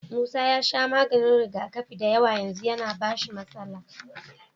Musa ya sha maganin rigakafi dayawa yanzu yAna bashi matsala